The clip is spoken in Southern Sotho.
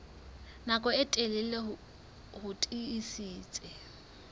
nako e telele ho tiisitse